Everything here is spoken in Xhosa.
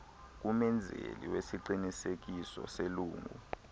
kumenzeli wesiqinisekiso selungu